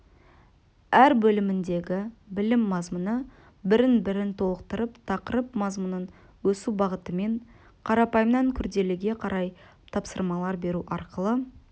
әр бөліміндегі білім мазмұны бірін-бірі толықтырып тақырып мазмұнын өсу бағытымен қарапайымнан күрделіге қарай тапсырмалар беру арқылы